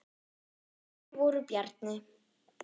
Þeir voru Bjarni